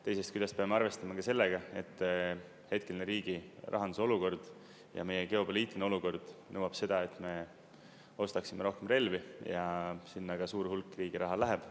Teisest küljest peame arvestama ka sellega, et hetke riigirahanduse olukord ja meie geopoliitiline olukord nõuab seda, et me ostaksime rohkem relvi, ja sinna ka suur hulk riigi raha läheb.